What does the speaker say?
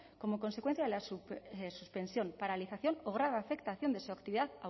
como consecuencia de la suspensión paralización o grave afectación de su actividad